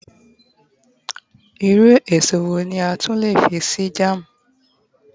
irú eso wo ni a tun le fi se jam